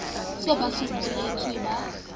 se ba e butswela ba